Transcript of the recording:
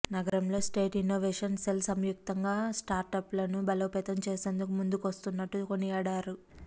నగరంలో state innovation cell సంయుక్తంగా స్టార్టప్లను బలోపేతం చేసేందుకు ముందుకొస్తున్నట్లు కొనియాడారు